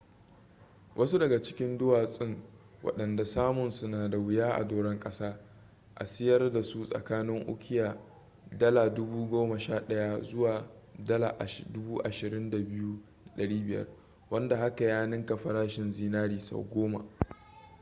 wasu daga cikin duwasun wadanda samun su na da wuya a doran kasa a siyar dasu tsakanin ukiya $11,000 zuwa $22,500 wanda haka ya ninka farashin zinari sau goma